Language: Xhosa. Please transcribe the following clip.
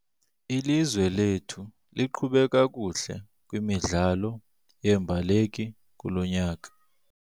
Ilizwe lethu liqhube kakuhle kwimidlalo yeembaleki kulo nyaka.